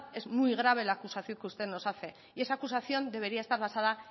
es muy grave la acusación que usted nos hacer y esa acusación debería estar basada